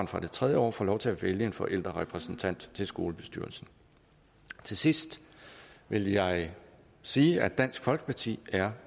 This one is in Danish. fra det tredje år får lov til at vælge en forældrerepræsentant til skolebestyrelsen til sidst vil jeg sige at dansk folkeparti er